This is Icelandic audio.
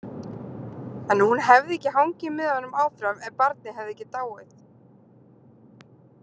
En hún hefði hangið með honum áfram ef barnið hefði ekki dáið.